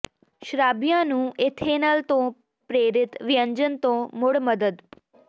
ਸ਼ਰਾਬੀਆਂ ਨੂੰ ਏਥੇਨਲ ਤੋਂ ਪ੍ਰੇਰਿਤ ਵਿਅੰਜਨ ਤੋਂ ਮੁੜ ਮਦਦ